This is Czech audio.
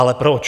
Ale proč?